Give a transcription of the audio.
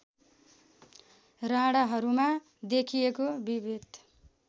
राणाहरूमा देखिएको विभेद